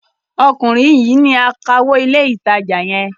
Ọkùnrin yìí ni akawó ilé-ìtajà yẹn.